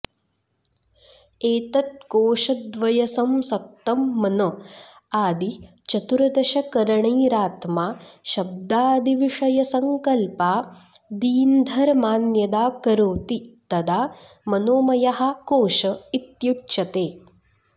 एतत्कोशद्वयसंसक्तं मन आदि चतुर्दशकरणैरात्मा शब्दादिविषयसङ्कल्पादीन्धर्मान्यदा करोति तदा मनोमयः कोश इत्युच्यते